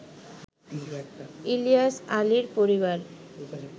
ইলিয়াস আলীর পরিবার